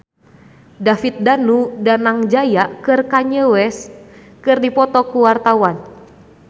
David Danu Danangjaya jeung Kanye West keur dipoto ku wartawan